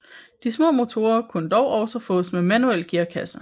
De små motorer kunne dog også fås med manuel gearkasse